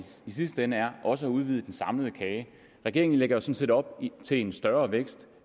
sidste ende er også at udvide den samlede kage regeringen lægger sådan set op til en større vækst